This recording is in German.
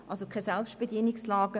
Also, kein Selbstbedienungsladen.